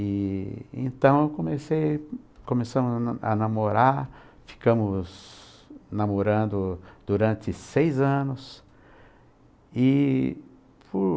E então eu comecei, começamos a namorar, ficamos namorando durante seis anos e por